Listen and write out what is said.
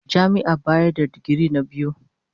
Jami'ar bayar da digiri na biyu.